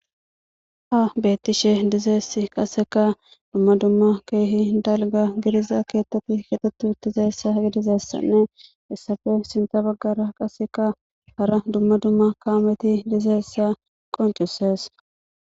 haha beettishe dizeess qaseka dumma dumma keehi dalga gidiza keetteti ketetu dizeyssa gidizeessanne issafe sinta baggara qaseka hara dumma dumma kaameti dizeyssa qoncisees